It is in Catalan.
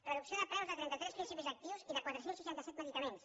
reducció de preus de trenta tres principis actius i de quatre cents i seixanta set medicaments